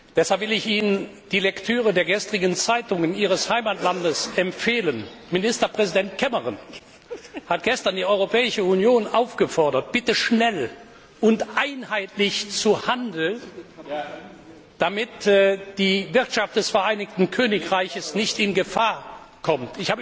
Deshalb will ich Ihnen die Lektüre der gestrigen Zeitungen Ihres Heimatlandes empfehlen. Ministerpräsident Cameron hat gestern die Europäische Union aufgefordert, bitte schnell und einheitlich zu handeln, damit die Wirtschaft des Vereinigten Königreiches nicht in Gefahr kommt.